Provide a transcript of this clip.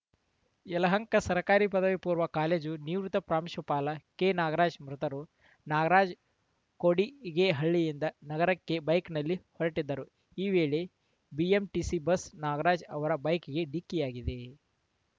ಯಲಹಂಕ ಸರ್ಕಾರಿ ಪದವಿ ಪೂರ್ವ ಕಾಲೇಜು ನಿವೃತ್ತ ಪ್ರಾಂಶುಪಾಲ ಕೆನಾಗರಾಜ್‌ ಮೃತರು ನಾಗರಾಜ್‌ ಕೋಡಿಗೆಹಳ್ಳಿಯಿಂದ ನಗರಕ್ಕೆ ಬೈಕ್‌ನಲ್ಲಿ ಹೊರಟಿದ್ದರು ಈ ವೇಳೆ ಬಿಎಂಟಿಸಿ ಬಸ್‌ ನಾಗರಾಜ್‌ ಅವರ ಬೈಕ್‌ಗೆ ಡಿಕ್ಕಿಯಾಗಿದೆ